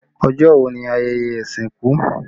Ọjọ́ wo ni ayẹyẹ ìsìnkú?